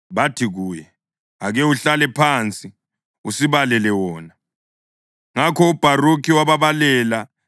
Bathi kuye, “Ake uhlale phansi usibalele wona.” Ngakho uBharukhi wababalela.